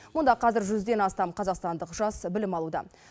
мұнда қазір жүзден астам қазақстандық жас білім алуда